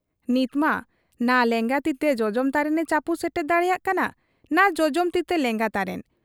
ᱱᱤᱛᱢᱟ ᱱᱟ ᱞᱮᱸᱜᱟ ᱛᱤᱛᱮ ᱡᱚᱡᱚᱢ ᱛᱟᱨᱮᱱᱮ ᱪᱟᱹᱯᱩ ᱥᱮᱴᱮᱨ ᱫᱟᱲᱮᱭᱟᱜ ᱠᱟᱱᱟ ᱱᱟ ᱡᱚᱡᱚᱢ ᱛᱤᱛᱮ ᱞᱮᱸᱜᱟ ᱛᱟᱨᱮᱱ ᱾